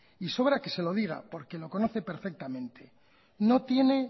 y sobra que se lo diga porque lo conoce perfectamente no tiene